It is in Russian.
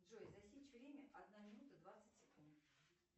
джой засечь время одна минута двадцать секунд